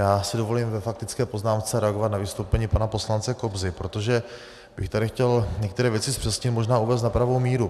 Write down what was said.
Já si dovolím ve faktické poznámce reagovat na vystoupení pana poslance Kobzy, protože bych tady chtěl některé věci zpřesnit, možná uvést na pravou míru.